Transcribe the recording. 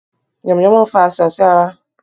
Yànmùyánmú n fa àisàn sí ara